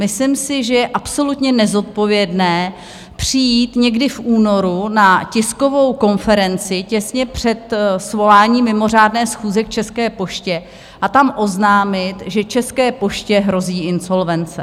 Myslím si, že je absolutně nezodpovědné přijít někdy v únoru na tiskovou konferenci, těsně před svoláním mimořádné schůze k České poště, a tam oznámit, že České poště hrozí insolvence.